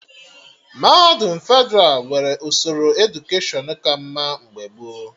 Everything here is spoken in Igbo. Mahadum Fedralụ nwere usoro edukeshọn ka mma mgbe gboo